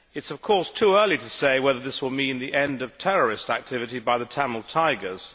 Of course, it is too early to say whether this will mean the end of terrorist activity by the Tamil Tigers.